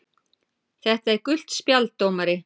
. þetta er gult spjald dómari!!!